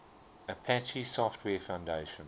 apache software foundation